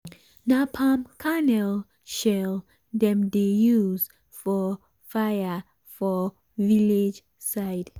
na palm kernel shell dem dey use for fire for village side.